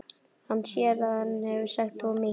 Hann sér að hann hefur sagt of mikið.